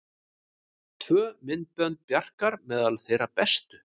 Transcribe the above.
Tvö myndbönd Bjarkar meðal þeirra bestu